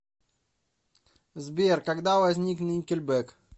сбер когда возник никельбек